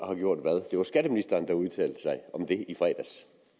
har gjort hvad det var skatteministeren der udtalte sig om det i fredags